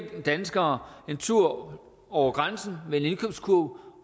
danskere en tur over grænsen med en indkøbskurv